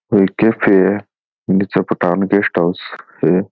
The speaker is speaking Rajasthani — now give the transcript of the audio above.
ओ एक कैफे है नीचे पठान गेस्ट हाउस है।